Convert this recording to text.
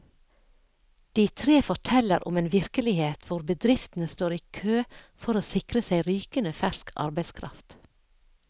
De tre forteller om en virkelighet hvor bedriftene står i kø for å sikre seg rykende fersk arbeidskraft.